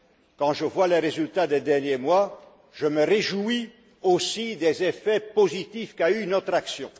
Quand je vois les résultats des derniers mois, je me réjouis aussi des effets positifs qu'a eus notre action.